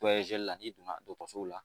Dɔ ze la n'i donna dɔgɔtɔrɔso la